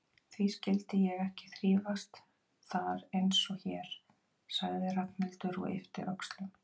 Því skyldi ég ekki þrífast þar einsog hér? sagði Ragnhildur og yppti öxlum.